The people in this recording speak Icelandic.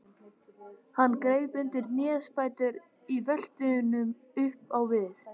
Hann greip undir hnésbæturnar í veltunum upp á við.